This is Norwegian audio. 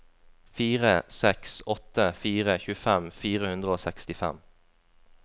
fire seks åtte fire tjuefem fire hundre og sekstifem